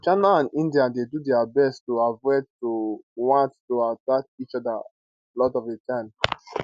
china and india dey do dia best to avoid to want to attack each oda lot of di time